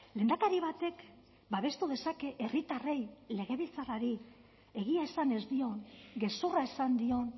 lehendakari batek babestu dezake herritarrei legebiltzarrari egia esan ez dion gezurra esan dion